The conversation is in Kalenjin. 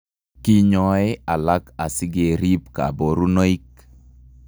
Kinyoee alak asikee riib kaborunoik